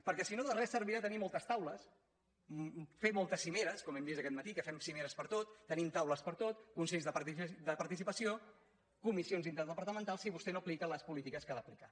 perquè si no de res servirà tenir moltes taules fer moltes cimeres com hem vist aquest matí que fem cimeres per a tot tenim taules per a tot consells de participació comissions interdepartamentals si vostè no aplica les polítiques que ha d’aplicar